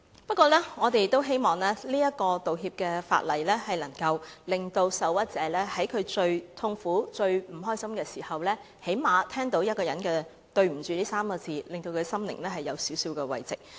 不過，我們亦希望這項道歉法例能令受屈者在最痛苦及最不快樂的時候，最低限度聽到一個人說"對不起 "3 個字，讓他的心靈得到少許慰藉。